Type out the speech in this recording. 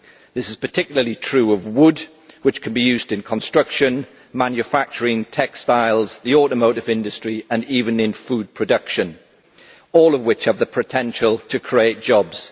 This is particularly true of wood, which can be used in construction, manufacturing, textiles, the automotive industry and even food production, all of which have the potential to create jobs.